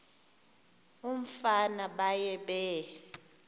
umfana baye bee